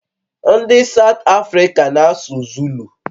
Ndị South Africa na-asụ Zulu